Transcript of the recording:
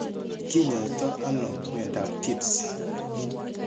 Kinyaaytano myondap Tietz.